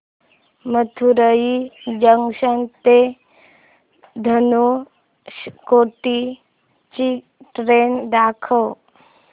Madurai junction ते धनुषकोडी ची train दाखव